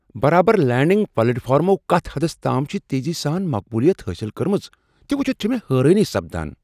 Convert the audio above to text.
برابر لینڈنگ پلیٹ فارمَو کتھ حدس تام چھ تیزی سان مقبولیت حٲصل کٕرمژ، تہ وچھِتھ چھےٚ حیرٲنی سپدان۔